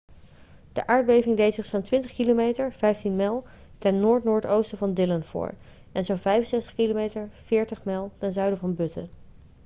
de aardbeving deed zich zo'n 20 km 15 mijl ten noord-noordoosten van dillon voor en zo'n 65 km 40 mijl ten zuiden van butte